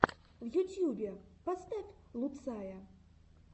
в ютьюбе поставь луцая